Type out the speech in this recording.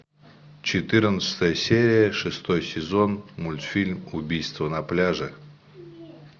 четырнадцатая серия шестой сезон мультфильм убийство на пляже